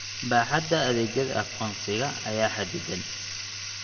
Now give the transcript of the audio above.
Baaxadda adeegyada aqoonsiga ayaa xaddidan.